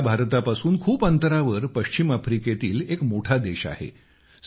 माली हा भारतापासून खूप अंतरावर पश्चिम आफ्रिकेतील एक मोठा देश आहे